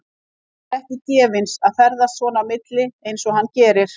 Þetta er ekki gefins að ferðast svona á milli og eins og hann gerir.